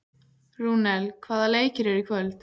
Rúnel, hvaða leikir eru í kvöld?